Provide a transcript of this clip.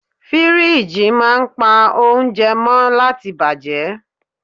Firiji máa ń pa oúnjẹ mó láti bàjẹ́.